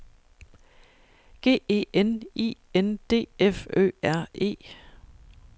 G E N I N D F Ø R E